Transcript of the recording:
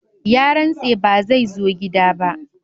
Ya rantse ba zai zo gida ba.